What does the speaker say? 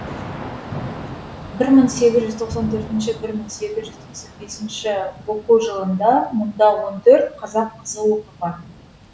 бір мың сегіз жүз тоқсан төртінші бір мың сегіз жүз тоқсан бесінші оқу жылында мұнда он төрт қазақ қызы оқыған